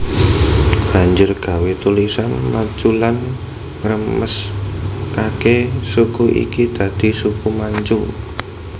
Banjur gawé tulisan Manchulan ngresmekake suku iki dadi Suku Manchu